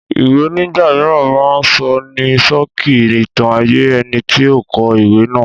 Ìwé nígbà mìíràn máa ń sọ ní ṣókí ìtàn ayé ẹnití ó kọ ìwé náà